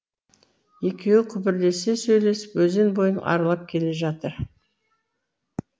екеуі күбірлесе сөйлесіп өзен бойын аралап келе жатыр